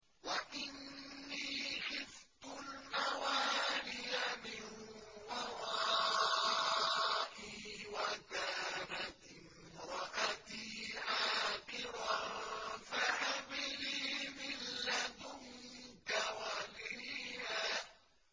وَإِنِّي خِفْتُ الْمَوَالِيَ مِن وَرَائِي وَكَانَتِ امْرَأَتِي عَاقِرًا فَهَبْ لِي مِن لَّدُنكَ وَلِيًّا